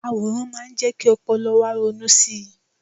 àwòrán má ń jé kí ọpọlọ wa ronú sí